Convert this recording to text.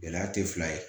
Gɛlɛya tɛ fila ye